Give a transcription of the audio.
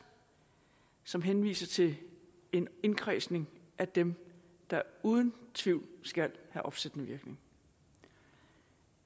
som henviser til en indkredsning af dem der uden tvivl skal have opsættende virkning